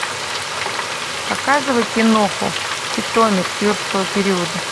показывай киноху питомец юрского периода